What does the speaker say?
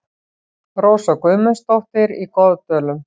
Rósa Guðmundsdóttir í Goðdölum